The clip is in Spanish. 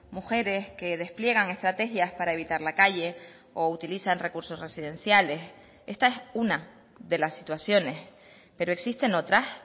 mujeres que despliegan estrategias para evitar la calle o utilizan recursos residenciales esta es una de las situaciones pero existen otras